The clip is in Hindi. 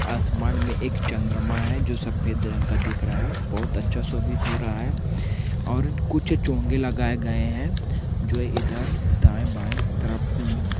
आसमान में एक चन्द्रमा है जो सफेद रंग का दिख रहा है। बहुत अच्छा शोभित हो रहा है। और कुछ चोंगे लगाए गए हैं जो इधर दाएं-बाएं तरफ मुह है।